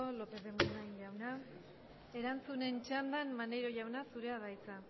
lópez de munain jaunak erantzunen txandan maneiro jauna zurea da hitza